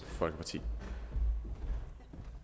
ved